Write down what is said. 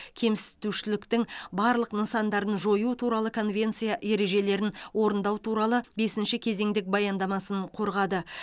кемсітушіліктің барлық нысандарын жою туралы конвенция ережелерін орындау туралы бесінші кезеңдік баяндамасын қорғады